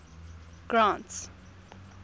grant's